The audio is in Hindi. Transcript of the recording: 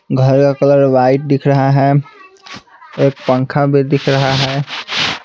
घर का कलर वाइट दिख रहा है एक पंखा भी दिख रहा है।